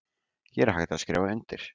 Hér er hægt að skrifa undir